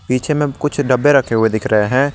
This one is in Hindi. पीछे में कुछ डब्बे रखे हुए दिखे रहे हैं।